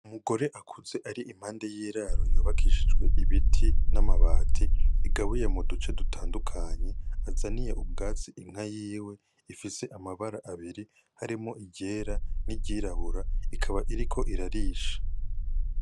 Umugore akuze ari impande y'iraro yubakishijwe ibiti n'amabati bigabuye mu duce dutandukanye azaniye ubwatsi inka yiwe ifise amabara abiri harimwo iryera n'iryirabura ikaba iriko irarisha.